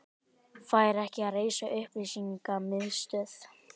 Fær ekki að reisa upplýsingamiðstöð